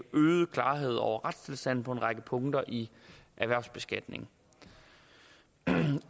øget klarhed over retstilstanden på en række punkter i erhvervsbeskatningen